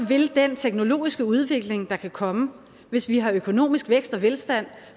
vil den teknologiske udvikling der kan komme hvis vi har økonomisk vækst og velstand